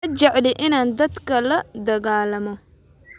Ma jecli inaan dadka la dagaallamo